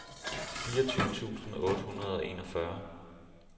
fireogtyve tusind otte hundrede og enogfyrre